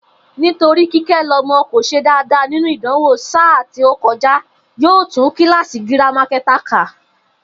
Nítorí Kíké̩lo̩mo̩ kò s̩e dáadáa nínú ìdánwò sáà tí ó ko̩já, yóò tún kíláàsì girama ké̩ta kà